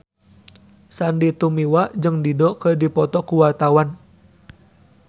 Sandy Tumiwa jeung Dido keur dipoto ku wartawan